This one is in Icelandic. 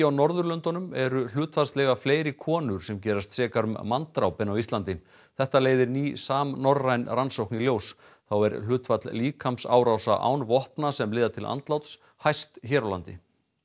Norðurlöndunum eru hlutfallslega fleiri konur sem gerast sekar um manndráp en á Íslandi þetta leiðir ný samnorræn rannsókn í ljós þá er hlutfall líkamsárása án vopna sem leiða til andláts hæst hér á landi